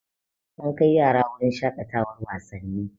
An kai yara wurin shaƙatawan wasanni